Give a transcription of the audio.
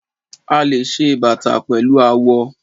A le ṣe bàtà pẹ̀lú awọ.